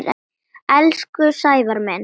Elsku Sævar minn.